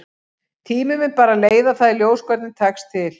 Tíminn mun bara leiða það í ljós hvernig tekst til.